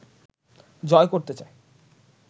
জয় করতে চায়